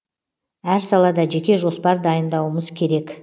әр салада жеке жоспар дайындауымыз керек